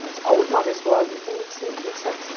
Mas a última vez que eu a vi tem vinte cinco, vinte sete...